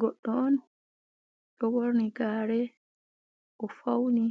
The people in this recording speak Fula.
Goɗɗo on, ɗo ɓorni gare o fauni